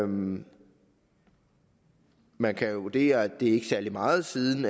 man man kan jo vurdere at det ikke er særlig meget siden